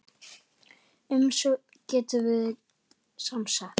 Umsögn getur verið samsett